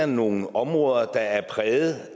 nogle områder der er præget